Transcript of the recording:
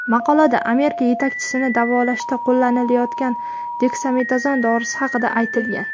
Maqolada Amerika yetakchisini davolashda qo‘llanilayotgan deksametazon dorisi haqida aytilgan.